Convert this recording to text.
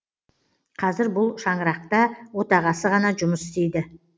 қазір бұл шаңырақта отағасы ғана жұмыс істейді